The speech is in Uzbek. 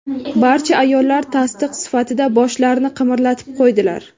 Barcha ayollar tasdiq sifatida boshlarini qimirlatib qo‘ydilar.